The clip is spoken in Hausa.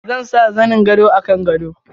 Zan sa zanin gado a kan gado.